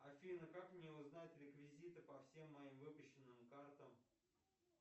афина как мне узнать реквизиты по всем моим выпущенным картам